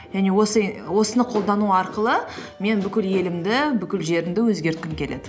және осыны қолдану арқылы мен бүкіл елімді бүкіл жерімді өзгерткім келеді